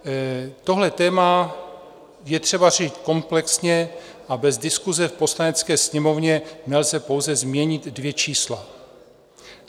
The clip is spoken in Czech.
Tohle téma je třeba řešit komplexně a bez diskuse v Poslanecké sněmovně nelze pouze změnit dvě čísla.